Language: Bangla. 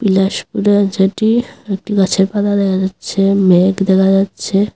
যেটি একটি গাছের পাতা দেখা যাচ্ছে মেঘ দেখা যাচ্ছে।